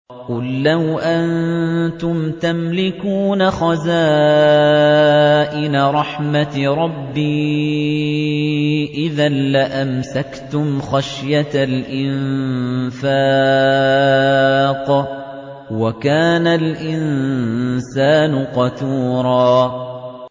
قُل لَّوْ أَنتُمْ تَمْلِكُونَ خَزَائِنَ رَحْمَةِ رَبِّي إِذًا لَّأَمْسَكْتُمْ خَشْيَةَ الْإِنفَاقِ ۚ وَكَانَ الْإِنسَانُ قَتُورًا